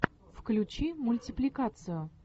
включи мультипликацию